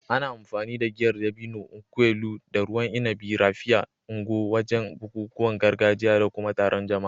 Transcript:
Ana amfani da Giyar dabino (nkwu elu) da ruwan inabi "Raphia" (Ngwo) wajen bukukuwan gargajiya da kuma taron jama'a.